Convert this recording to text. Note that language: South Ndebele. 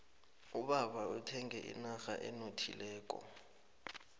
ubaba uthenge inrha enothileko